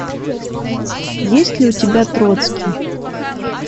есть ли у тебя троцкий